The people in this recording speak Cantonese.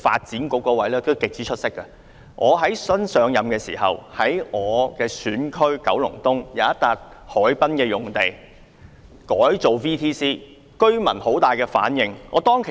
在我最初擔任議員的時候，在我的選區九龍東有一幅海濱用地上將會興建 VTC 校舍，居民對此反應強烈。